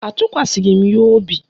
Atụkwasịghị m ya obi